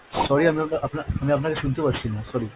Sorry আপনাকে আপনা~ আমি আপনাকে শুনতে পাচ্ছিনা sorry.